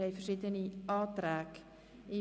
Es liegen Anträge vor.